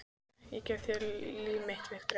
Ég gef þér líf mitt, Viktoría.